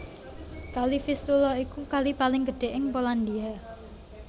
Kali Vistula iku kali paling gedhé ing Polandia